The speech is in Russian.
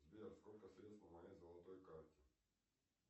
сбер сколько средств на моей золотой карте